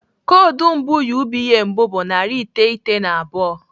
Koodu mbụ UBA mbụ bụ narị iteghete na abụọ.